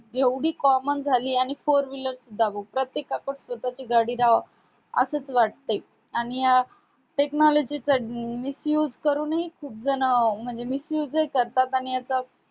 एवढी comman झाली आणि four wheeler सुद्धा प्रत्येका कडे स्वतःची गाडी रा राहो असे वाटतेय आणि अह technology चा miss used करूनही खूप जण अं म्हणजे miss used करतात आणि आता